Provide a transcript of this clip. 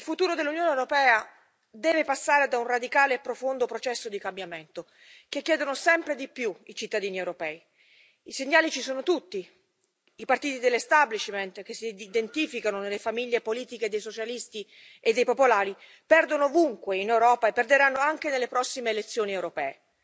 Signor Presidente, onorevoli colleghi, gentile Primo ministro, il futuro dell'Unione europea deve passare da un radicale e profondo processo di cambiamento che chiedono sempre di più i cittadini europei. I segnali ci sono tutti i partiti dell'establishment che si identificano nelle famiglie politiche dei Socialisti e dei Popolari perdono ovunque in Europa e perderanno anche nelle prossime elezioni europee.